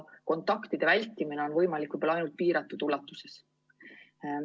Kontaktide vältimine on võimalik võib-olla ainult piiratud ulatuses.